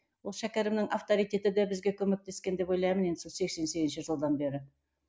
ол шәкәрімнің авторитеті де бізге көмектескен деп ойлаймын енді сол сексен сегізінші жылдан бері